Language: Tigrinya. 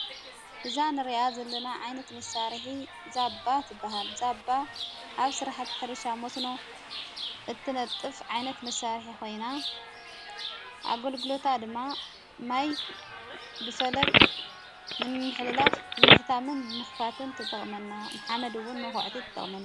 እዛ ንርኣ ዘለና ዓይነት መሣርሒ ዛባ ትበሃል ዛባ ኣብ ሠራሕት ሕርሻ ሞስኖ እትነጥፍ ዓይነት መሣርሕ ኾይና ኣጐልግሎታ ድማ ማይ ብፈለግ ንምኅሊላፍ ብምሕታምን ብምኽባተን ተጠቕመና መሓመድውን መዂዕቲ ትጠቕመን::